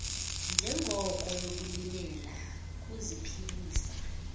ngenjongo yokulimela ukuziphilisa